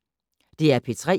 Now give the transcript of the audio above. DR P3